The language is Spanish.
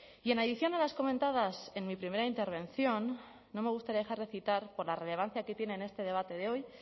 y en adición a las comentadas en mi primera intervención no me gustaría dejar de citar por la relevancia que tiene en este debate de hoy